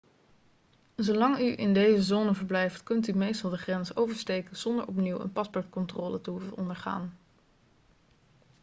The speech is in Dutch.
zolang u in deze zone verblijft kunt u meestal de grens oversteken zonder opnieuw een paspoortcontrole te hoeven ondergaan